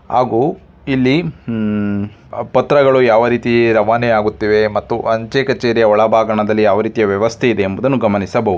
ಹಾಗೂ ಇಲ್ಲಿ ಉ ಪತ್ರಗಳು ಯಾವ ರೀತಿ ರವಾನೆ ಆಗುತ್ತಿವೆ ಮತ್ತು ಅಂಚೆ ಕಛೇರಿಯ ಒಳಭಾಗದಲ್ಲಿ ಯಾವ ರೀತಿ ವ್ಯವಸ್ಥೆ ಇದೆ ಎಂಬುದನ್ನು ಗಮನಿಸಬಹುದು .